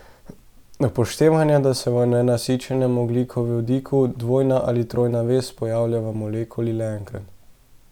Upoštevajte, da se v nenasičenem ogljikovodiku dvojna ali trojna vez pojavlja v molekuli le enkrat.